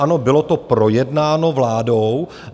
Ano, bylo to projednáno vládou.